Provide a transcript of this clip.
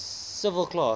civil class